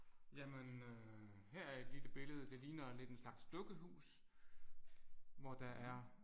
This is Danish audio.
Jamen øh her er et lille billede det ligner lidt en slags dukkehus hvor der er